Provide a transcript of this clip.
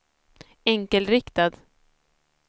enkelriktad